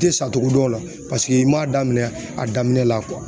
te sacogo dɔn la paseke i m'a daminɛn a daminɛn la